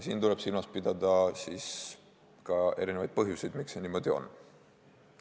Siin tuleb silmas pidada erinevaid põhjuseid, miks see niimoodi on.